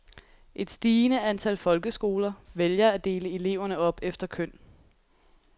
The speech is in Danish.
Et stigende antal folkeskoler vælger at dele eleverne op efter køn.